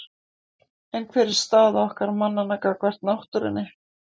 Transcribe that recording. En hver er staða okkar mannanna gagnvart náttúrunni?